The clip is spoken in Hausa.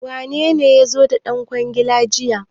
Wanene ya zo da ɗan kwangilar jiya?